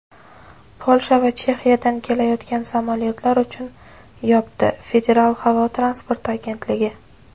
Polsha va Chexiyadan kelayotgan samolyotlar uchun yopdi – Federal havo transporti agentligi.